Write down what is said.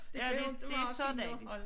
Ja det det så dejligt